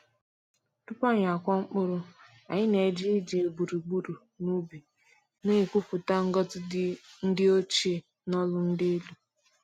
Tupu anyị akụọ mkpụrụ, anyị na-eje ije gburugburu ubi, na-ekwupụta ngọzi ndi ochie n’olu dị elu.